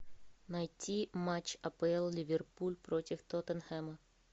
найти матч апл ливерпуль против тоттенхэма